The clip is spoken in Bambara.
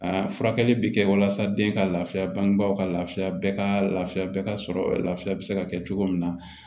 furakɛli bɛ kɛ walasa den ka lafiya bangebaw ka laafiya bɛɛ ka lafiya bɛɛ ka sɔrɔ lafiya bɛ se ka kɛ cogo min na